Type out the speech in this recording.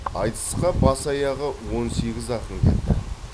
айтысқа бас аяғы он сегіз ақын келді